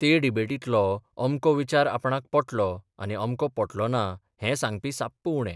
ते डिबेटींतलो अमको विचार आपणाक पटलो आनी अमको पटलो ना हें सांगपी साप्प उणे.